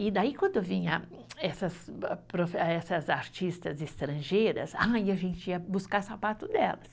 E daí, quando vinha essas, essas artistas estrangeiras, ai a gente ia buscar sapato delas.